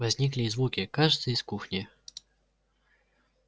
возникли и звуки кажется из кухни